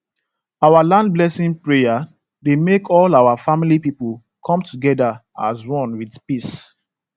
our land blessing prayer dey make all our family people come together as one with peace